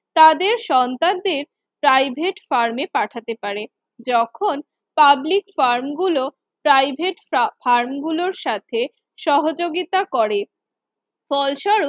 তাদের সন্তানদের প্রাইভেট ফার্মে পাঠাতে পারে। যখন পাবলিক ফার্ম গুলো প্রাইভেট ফ্রাফার্ম গুলোর সাথে সহযোগিতা করে ফলস্বরূপ